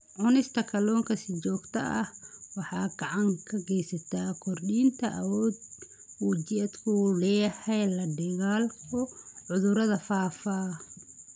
Cunista kalluunka si joogto ah waxay gacan ka geysataa kordhinta awoodda uu jidhku u leeyahay la-dagaallanka cudurrada faafa.